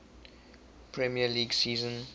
premier league season